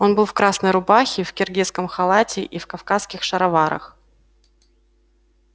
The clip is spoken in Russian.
он был в красной рубахе в киргизском халате и в кавказских шароварах